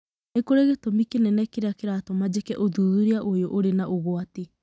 Nĩ kũrĩ gĩtumi kĩnene kĩrĩa kĩratũma njĩke ũthuthuria ũyũ ũrĩ na ũgwati.